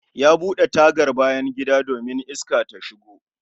Ya bude tagar bayan gida domin Iska ta shigo